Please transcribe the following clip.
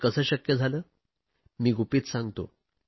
हे कसे शक्य झाले मी गुपित सांगतो